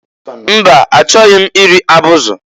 Mba! Achọghị m iri abụzị.